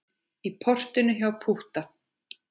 Í portinu hjá Pútta.